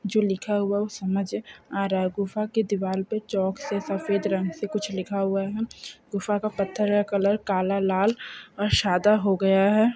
जो लिखा हुआ वह समझ आ रहा है गुफा के दीवाल पर चौक से सफेद रंग से कुछ लिखा हुआ है गुफा का पत्थर या कलर कल लाल और सदा हो गया है